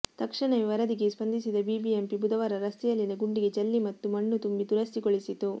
ತಕ್ಷಣವೇ ವರದಿಗೆ ಸ್ಪಂದಿಸಿದ ಬಿಬಿಎಂಪಿ ಬುಧವಾರ ರಸ್ತೆಯಲ್ಲಿನ ಗುಂಡಿಗೆ ಜಲ್ಲಿ ಮತ್ತು ಮಣ್ಣು ತುಂಬಿ ದುರಸ್ತಿಗೊಳಿಸಿತು